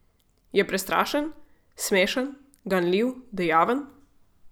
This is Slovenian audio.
Je prestrašen, smešen, ganljiv, dejaven?